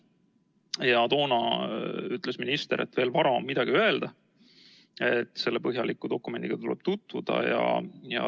Toona ütles minister, et on veel vara midagi öelda, selle põhjaliku dokumendiga tuleb tutvuda.